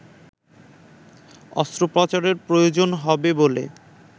অস্ত্রোপচারের প্রয়োজন হবে বলে